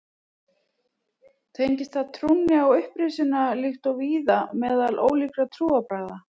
Tengist það trúnni á upprisuna líkt og víða meðal ólíkra trúarbragða.